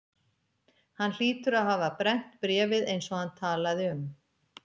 Hann hlýtur að hafa brennt bréfið eins og hann talaði um.